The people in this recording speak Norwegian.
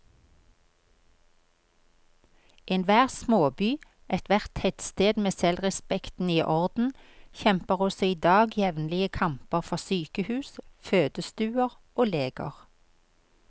Enhver småby, ethvert tettsted med selvrespekten i orden, kjemper også i dag jevnlige kamper for sykehus, fødestuer og leger.